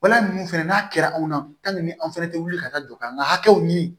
Wala ninnu fɛnɛ n'a kɛra anw na an fɛnɛ tɛ wuli ka taa jɔkan hakɛw ɲini